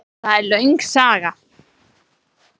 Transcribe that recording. Það er löng saga.